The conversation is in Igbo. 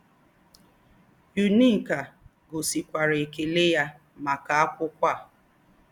Ẹ́úní́kà gòsìkwàrà èkèlẹ̀ yá màkà ákwụ́kwọ́ à.